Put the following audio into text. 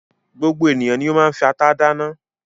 Gbogbo ènìyàn ni ó máa ń fi ata dáná.